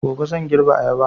Gobe zan girbe ayaba